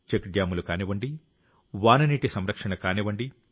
check డ్యామ్లు కానివ్వండి వాననీటి సంరక్షణ కానివ్వండి